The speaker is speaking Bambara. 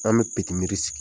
An bɛ miri sigi.